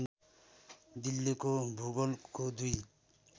दिल्लीको भूगोलको दुई